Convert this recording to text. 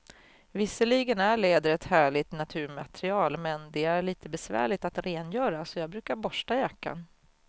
Visserligen är läder ett härligt naturmaterial, men det är lite besvärligt att rengöra, så jag brukar borsta jackan.